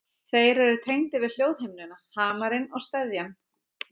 Þeir eru tengdir við hljóðhimnuna, hamarinn og steðjann.